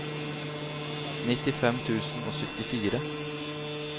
nittifem tusen og syttifire